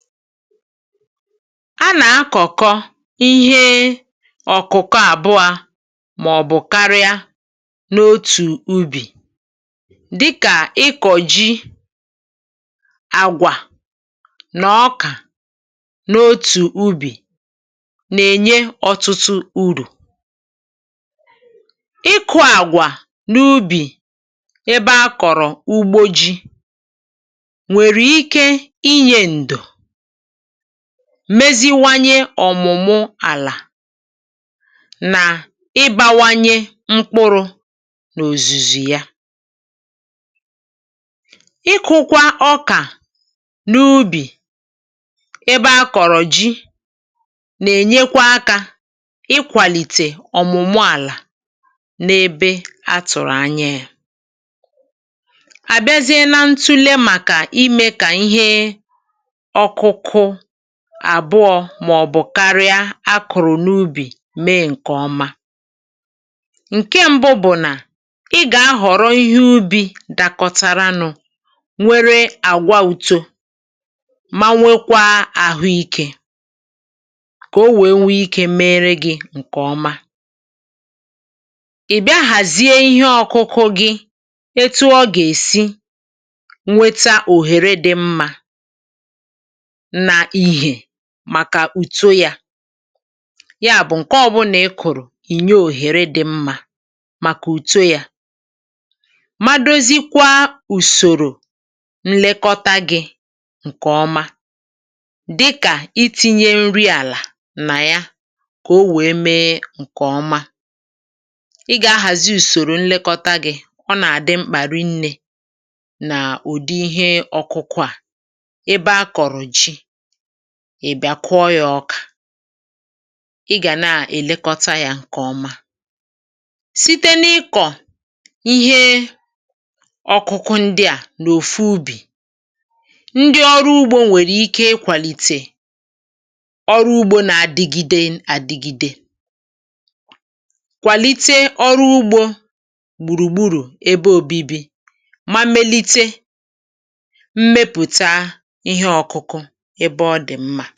a nà-akọ̀kọ ihe ọ̀kụ̀kọ àbụọ màọ̀bụ̀ karịa n’otù ubì dịkà ịkọ̀ ji àgwà nà ọkà n’otù ubì nà-ènye ọtụtụ urù ịkụ̇ àgwà n’ubì ebe a kọ̀rọ̀ ugbo ji nwèrè ike inye ǹdụ̀ meziwanye ọ̀mụ̀mụ àlà nà ịbȧwanye mkpụrụ n’òzùzù ya ikụkwa ọkà n’ubì ebe akọ̀rọ̀ ji nà-ènyekwa akȧ ikwàlìtè ọ̀mụ̀mụ àlà n’ebe atụ̀rụ̀ anya yȧ àbịazịa na ntule màkà imė kà ihe àbụọ màọ̀bụ̀ karịa a kụ̀rụ̀ n’ubì mee ǹkè ọma ǹke ṁbụ bụ̀ nà ị gà-ahọ̀rọ̀ ihe ubi̇ dȧkọ̇tȧrȧnụ̀ nwere àgwa uto ma nwekwaa àhụikė kà o wèe nwee ikė mere gị̇ ǹkè ọma ị̀ bịa hàzie ihe ọ̇kụ̇kụ̇ gị̇ etu ọ gà-èsi nweta òhèrè dị̇ mmȧ na ìhè màkà ùto yȧ. ya bụ̀ ǹke ọ̀bụlà ị kụ̀rụ̀ ìnye òhèrè dị̇ mmȧ màkà ùto yȧ madozikwa ùsòrò nlekọta gị̇ ǹkè ọma dịkà iti̇nyė nri àlà nà ya kà o wèe mee ǹkè ọma ị gà-ahàzi ùsòrò nlekọta gị̇ ọ nà-àdị mkpà rinnė nà ùdi ihe ọkụkụ à ị bịa kụọ ya ọkà ị gà na-èlekọta yȧ ǹkè ọma site n’ikọ̀ ihe ọ̀kụkụ ndị à n’òfu ubì ndị ọrụ ugbȯ nwèrè ike ikwàlìtè ọrụ ugbȯ nà-adịgide adịgide kwàlite ọrụ ugbȯ gbùrùgburù ebe òbibi ma melite ǹkẹ̀ ọ